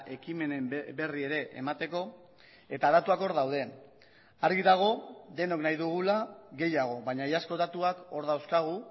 ekimenen berri ere emateko eta datuak hor daude argi dago denok nahi dugula gehiago baina iazko datuak hor dauzkagu